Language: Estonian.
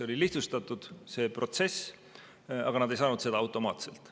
See protsess oli lihtsustatud, aga nad ei saanud seda automaatselt.